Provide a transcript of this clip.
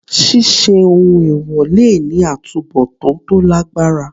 Ṣíṣe ohun èwọ̀ le ní àtubọ̀tán tó lágbára.